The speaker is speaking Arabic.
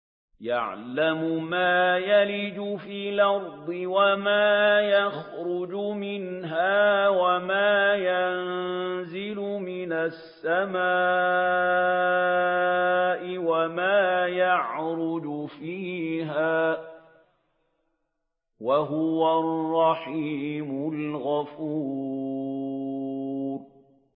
يَعْلَمُ مَا يَلِجُ فِي الْأَرْضِ وَمَا يَخْرُجُ مِنْهَا وَمَا يَنزِلُ مِنَ السَّمَاءِ وَمَا يَعْرُجُ فِيهَا ۚ وَهُوَ الرَّحِيمُ الْغَفُورُ